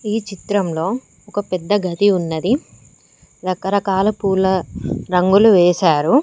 ఈ చిత్రంలో ఒక పెద్ద గది ఉన్నది రకరకాల పూల రంగులు వేసారు.